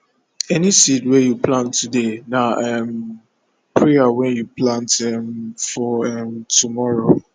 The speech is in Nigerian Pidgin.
any seed wey you plant today na um prayer wey you plant um for um tomorrow